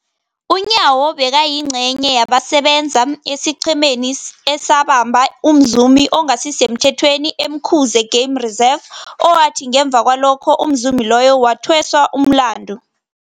UNyawo bekayingcenye yabasebenza esiqhemeni esabamba umzumi ongasisemthethweni e-Umkhuze Game Reserve, owathi ngemva kwalokho umzumi loyo wathweswa umlandu.